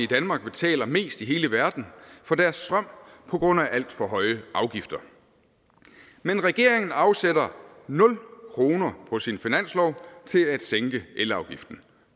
danmark betaler mest i hele verden for deres strøm på grund af alt for høje afgifter men regeringen afsætter nul kroner på sin finanslov til at sænke elafgiften